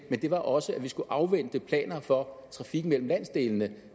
men det var også at vi skulle afvente planer for trafikken mellem landsdelene